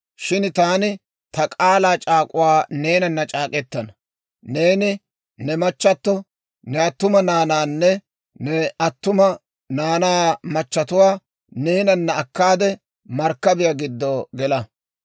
Shin taani ta k'aalaa c'aak'k'uwaa neenana c'aak'k'ettana. Neeni ne machchatto, ne attuma naanaanne ne attuma naanaa machatuwaa neenanna akkaade markkabiyaa giddo gela.